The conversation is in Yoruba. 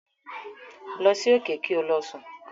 Lọ sí òkè kí o lọ sùn.